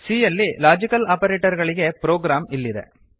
c ಯಲ್ಲಿ logical operator ಗಳಿಗೆ program ಇಲ್ಲಿದೆ